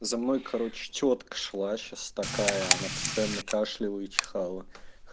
за мной короче тётка шла сейчас такая она постоянно кашляла и чихала